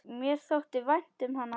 Mér þótti vænt um hana.